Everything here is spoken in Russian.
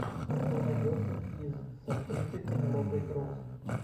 что найдется из с актрисой пенелопой круз